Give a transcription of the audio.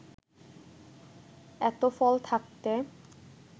এত ফল থাকতে